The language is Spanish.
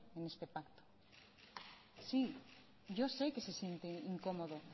en este pacto sí yo sé que se siente incómodo